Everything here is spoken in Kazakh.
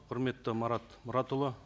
құрметті марат мұратұлы